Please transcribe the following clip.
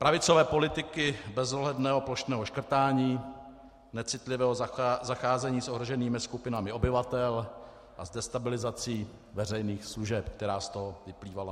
Pravicové politiky bezohledného plošného škrtání, necitlivého zacházení s ohroženými skupinami obyvatel a s destabilizací veřejných služeb, která z toho vyplývala.